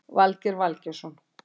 Valgeir Valgeirsson